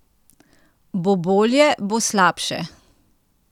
Bo bolje, bo slabše?